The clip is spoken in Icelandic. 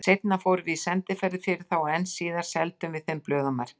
Seinna fórum við sendiferðir fyrir þá og enn síðar seldum við þeim blöð og merki.